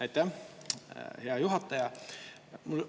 Aitäh, hea juhataja!